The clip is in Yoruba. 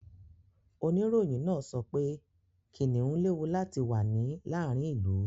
Oníròyìn náà sọ pé kìnnìún léwu láti wà ní làárin ìlú.